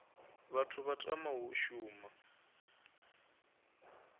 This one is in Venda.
vhathu vha tamaho u shuma